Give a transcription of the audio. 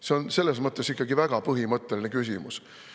See on selles mõttes ikkagi väga põhimõtteline küsimus.